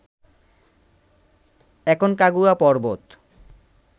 Aconcagua পর্বত